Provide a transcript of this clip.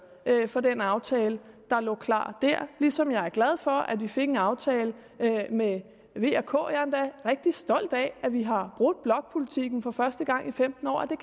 for den aftale der lå klar der ligesom jeg er glad for at vi fik en aftale med v og k jeg er endda rigtig stolt af at vi har brudt blokpolitikken for første gang i femten år at det